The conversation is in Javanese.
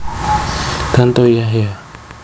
Tantowi Yahya